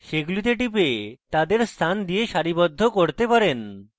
সেগুলিতে টিপে তাদের স্থান দিয়ে সারিবদ্ধ করতে পারেন